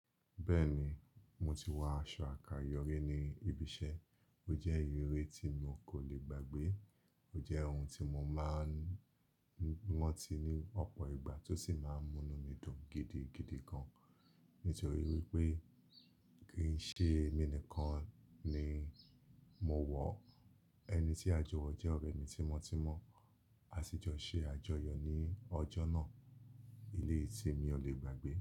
Bẹ́ẹ̀ni, mo ti wọ aṣọ àkáyọrí ní ibi iṣẹ́. Ó jẹ́ ìyìré tí mo kò lè gbàgbé. Ó jẹ́ ohun tí mo máa ń ran ti ní ọ̀pọ̀ ìgbà tó sì máa ń múnu mi dùn gidigidi gan-an. Nítorí wípé kì í ṣe èmi nìkan ni mo wọ̀, ẹni tí a jọ wọ̀ jẹ́ ọ̀rẹ́ mi tímọ́tímọ́. A sì jọ ṣe àjọyọ̀ ní ọjọ́ náà. Eleyi tí mi ò lè gbàgbé.